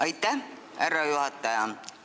Aitäh, härra juhataja!